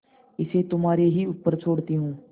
इसे तुम्हारे ही ऊपर छोड़ती हूँ